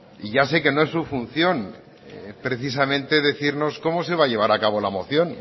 y ya sé que no es su función precisamente decirnos cómo se va a llevar a cabo la moción